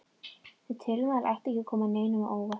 Þau tilmæli ættu ekki að koma neinum á óvart.